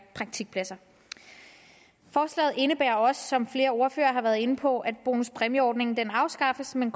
praktikpladser forslaget indebærer også som flere ordførere har været inde på at bonuspræmieordningen afskaffes men